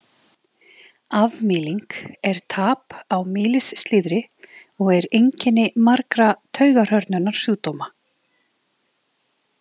Afmýling er tap á mýlisslíðri og er einkenni margra taugahrörnunarsjúkdóma.